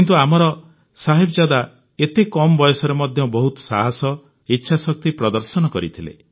କିନ୍ତୁ ଆମର ସାହିବଜାଦା ଏତେ କମ ବୟସରେ ମଧ୍ୟ ବହୁତ ସାହସ ଇଚ୍ଛାଶକ୍ତି ପ୍ରଦର୍ଶନ କରିଥିଲେ